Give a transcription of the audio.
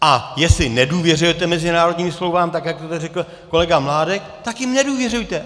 A jestli nedůvěřujete mezinárodním smlouvám, tak jak to zde řekl kolega Mládek, tak jim nedůvěřujte.